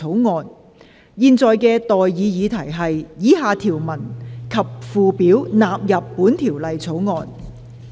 我現在向各位提出的待議議題是：以下條文及附表納入本條例草案。